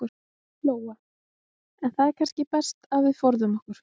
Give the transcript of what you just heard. Lóa: En það er kannski best að við forðum okkur?